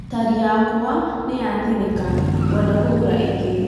Tarĩ yakwa nĩ yatĩnika ngwenda kũgũra ĩngĩ